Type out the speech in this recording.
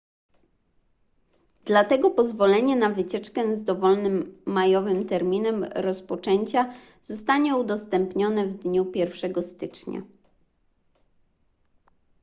dlatego pozwolenie na wycieczkę z dowolnym majowym terminem rozpoczęcia zostanie udostępnione w dniu 1 stycznia